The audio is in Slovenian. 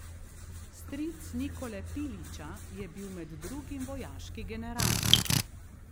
Stric Nikole Pilića je bil med drugim vojaški general.